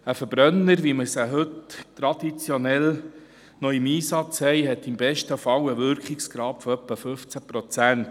Verbrennungsmotoren, wie wir sie traditionell heute noch im Einsatz haben, haben im besten Fall einen Wirkungsgrad von etwa 15 Prozent.